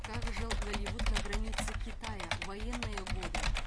как жил голливуд на границе китая в военные годы